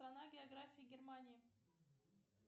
страна география германии